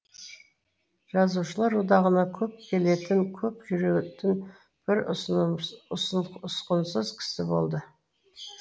жазушылар одағына көп келетін көп жүретін бір ұсқынсыз кісі болды